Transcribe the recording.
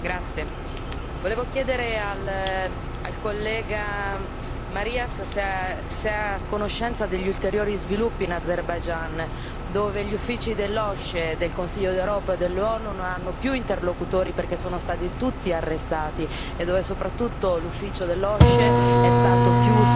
Volevo chiedere al collega Marias se è a conoscenza degli ulteriori sviluppi in Azerbaigian, dove gli uffici dell'OSCE, del Consiglio d'Europa e dell'ONU non hanno più interlocutori, perché sono stati tutti arrestati e dove, soprattutto, l'ufficio dell'OSCE è stato chiuso e